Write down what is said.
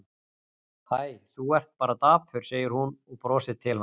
Hæ, þú ert bara dapur, segir hún og brosir til hans.